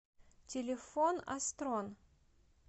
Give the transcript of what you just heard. телефон астрон